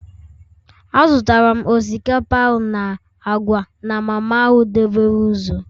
Azụtara m osikapa na agwa na mama ahụ dobere ụzọ